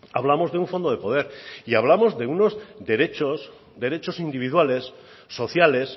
hablamos de un fondo de poder y hablamos de unos derechos derechos individuales sociales